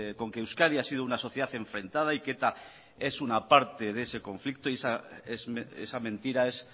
con que euskadi ha sido una sociedad enfrentada y que eta es una parte de ese conflicto y esa mentira es